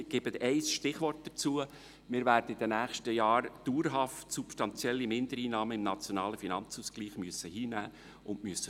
Ich gebe dazu ein Stichwort: Wir werden in den nächsten Jahren dauerhaft substanzielle Mindereinnahmen im Nationalen Finanzausgleich (NFA) hinnehmen und verdauen müssen.